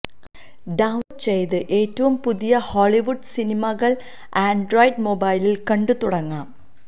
down load ചെയ്ത് ഏറ്റവും പുതിയ ഹോളിവുഡ് സിനിമകള് ആന്ഡ്രോയ്ഡ് മൊബൈലില് കണ്ട് തുടങ്ങാം